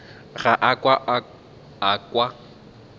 ga a ka a kwa